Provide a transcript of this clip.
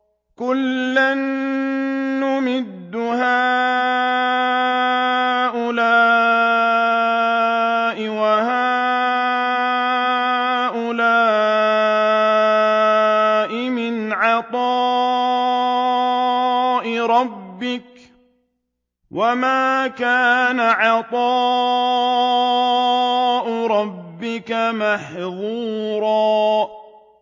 كُلًّا نُّمِدُّ هَٰؤُلَاءِ وَهَٰؤُلَاءِ مِنْ عَطَاءِ رَبِّكَ ۚ وَمَا كَانَ عَطَاءُ رَبِّكَ مَحْظُورًا